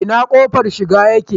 Ina kofar shiga yake?